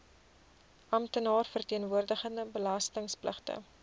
amptenaar verteenwoordigende belastingpligtige